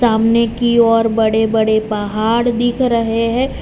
सामने की ओर बड़े बड़े पहाड़ दिख रहे हैं।